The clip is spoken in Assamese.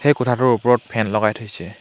এই কোঠাটোৰ ওপৰত ফেন লগাই থৈছে।